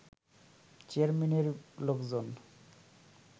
চেয়ারম্যানের লোকজন